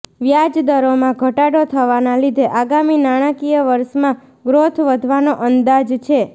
વ્યાજદરોમાં ઘટાડો થવાના લીધે આગામી નાણાંકીય વર્ષમાં ગ્રોથ વધવાનો અંદાજ છે